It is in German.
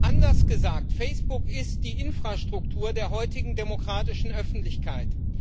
Anders gesagt Facebook ist die Infrastruktur der heutigen demokratischen Öffentlichkeit.